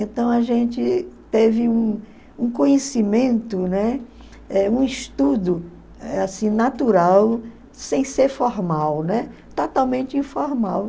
Então a gente teve um um conhecimento, né, eh um estudo eh assim natural, sem ser formal, totalmente informal.